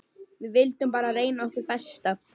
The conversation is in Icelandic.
Við vildum bara reyna okkar besta.